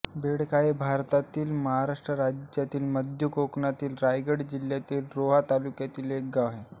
बेळखार हे भारतातील महाराष्ट्र राज्यातील मध्य कोकणातील रायगड जिल्ह्यातील रोहा तालुक्यातील एक गाव आहे